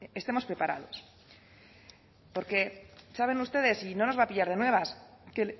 estemos preparados porque saben ustedes y no nos va a pillar de nuevas que